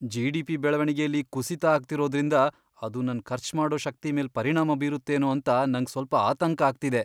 GDP. ಬೆಳವಣಿಗೆಲಿ ಕುಸಿತ ಆಗ್ತಿರೋದ್ರಿಂದ ಅದು ನನ್ ಖರ್ಚ್ ಮಾಡೋ ಶಕ್ತಿ ಮೇಲ್ ಪರಿಣಾಮ ಬೀರತ್ತೇನೋ ಅಂತ ನಂಗ್ ಸ್ವಲ್ಪ ಆತಂಕ ಆಗ್ತಿದೆ.